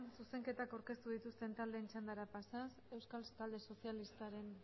zuzenketak aurkeztu dituzten taldeen txandara pasaz euskal talde sozialistaren